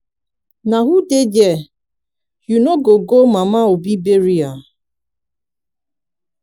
na who dey there? you no go go mama obi burial?